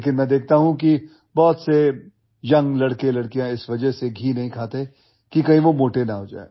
लेकिन मैं देखता हूं कि बहुत से यंग लड़के लड़कियां इस वजह से घी नहीं खाते कि कही वो मोटे ना हो जाए